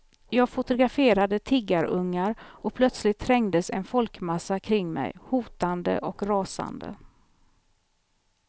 Jag fotograferade tiggarungar och plötsligt trängdes en folkmassa kring mig, hotande och rasande.